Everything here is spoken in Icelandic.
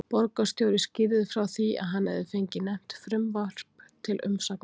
Borgarstjóri skýrði frá því, að hann hefði fengið nefnt frumvarp til umsagnar.